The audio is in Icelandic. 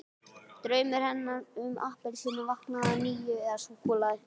Draumur hennar um appelsínu vaknaði að nýju- eða súkkulaði!